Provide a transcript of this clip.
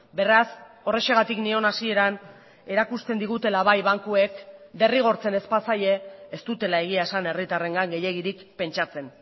beraz horrexegatik nion hasieran erakusten digutela bai bankuek derrigortzen ez bazaie ez dutela egia esan herritarrengan gehiegirik pentsatzen